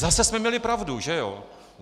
Zase jsme měli pravdu, že jo?